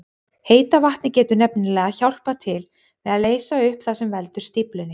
Heita vatnið getur nefnilega hjálpað til við að leysa upp það sem veldur stíflunni.